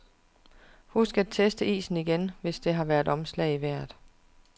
Husk at teste isen igen, hvis der har været omslag i vejret.